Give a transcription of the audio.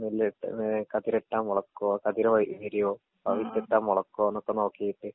നെല്ലിട്ട് ഏ കതിരിട്ടാ മൊളക്കോ കതിര് വിരിയോ ആ വിത്തിട്ടാ മൊളക്കോന്നൊക്കെ നോക്കീട്ട്.